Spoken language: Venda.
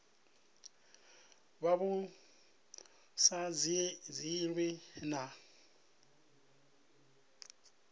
vha vhu sa dzhielwi nha